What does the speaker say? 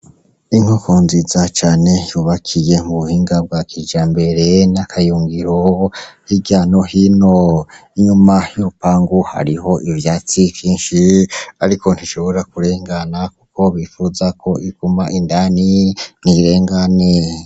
Inkoko nziza cane yubakiye mu buhinga bwa kijambere n'akayungiro hirya no hino. Inyuma y'urupangu hariho ivyatsi vyinshi ariko ntishobora kurengana kuko bipfuza ko iguma indani ntirengane.